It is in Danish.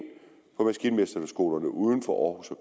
på maskinmesterskolerne uden for aarhus og